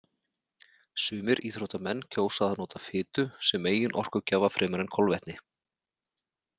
Sumir íþróttamenn kjósa að nota fitu sem meginorkugjafa fremur en kolvetni.